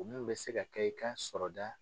O min be se ka kɛ i ka sɔrɔda